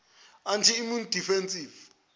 anti immune deficiency